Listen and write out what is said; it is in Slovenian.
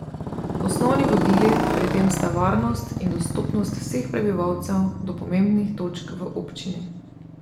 Osnovni vodili pri tem sta varnost in dostopnost vseh prebivalcev do pomembnih točk v občini.